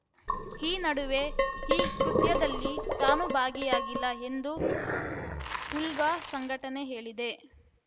ಈ ನಡುವೆ ಈ ಕೃತ್ಯದಲ್ಲಿ ತಾನು ಭಾಗಿಯಾಗಿಲ್ಲ ಎಂದು ಉಲ್ಫಾ ಸಂಘಟನೆ ಹೇಳಿದೆ